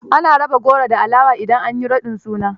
Ana raba goro da alawa idan an raɗa suna.